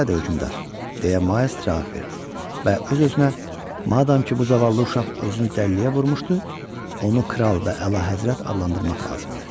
Elədir, hökmdar, deyə Miles cavab verdi və öz-özünə, madam ki, bu zavallı uşaq özünü dəliliyə vurmuşdu, onu kral və Əlahəzrət adlandırmaq lazımdır.